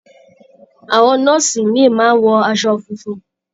Àwọn nọ́ọ̀sì ìmíì máa ń wọ aṣọ funfun.